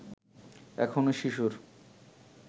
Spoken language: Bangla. এখনো শিশুর